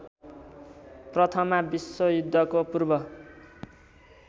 प्रथमा विश्वयुद्धको पूर्व